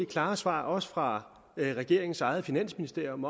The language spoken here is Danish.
klare svar også fra regeringens eget finansministerium